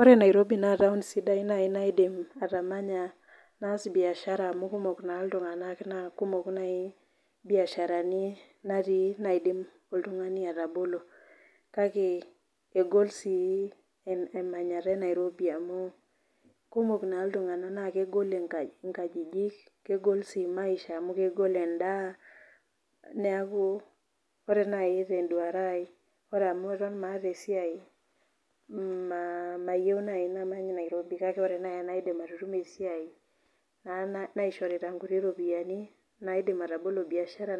Ore Nairobi naa taun sidai nai naidim atamanya, naas biashara amu kumok naa iltung'ana, naa kumok nai imbiasharani natii naidim oltung'ani atabolo. Kake egol sii emanyata e Nairobi amu kumok naa iltung'ana naa, kegol inkajijik naa kegol sii maisha amu kegol endaa. Neaku kore naaji nanu te enduata aai ore amu eton maata esiai , mayiou naaji namany Nairobi kake ore naaji anaidim atutumo esiai naaishorita inkuti ropiani naidim atabolo biashara